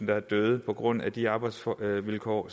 være døde på grund af de arbejdsvilkår